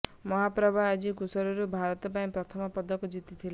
ମାଳାପ୍ରଭା ଆଜି କୁରାସରୁ ଭାରତ ପାଇଁ ପ୍ରଥମ ପଦକ ଜିତିଥିଲେ